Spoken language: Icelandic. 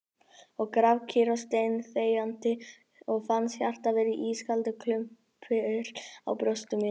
Sat grafkyrr og steinþegjandi og fannst hjartað vera ískaldur klumpur í brjósti mínu ...